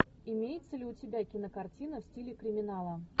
имеется ли у тебя кинокартина в стиле криминала